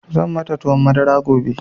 Zan mata tuwon madara gobe.